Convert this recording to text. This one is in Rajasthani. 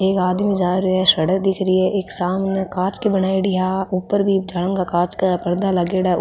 एक आदमी जा रो है सड़क दिख रही है इक सामने कांच की बनायेडी है आ ऊपर भी कांच का परदा लागेड़ा है ऊ --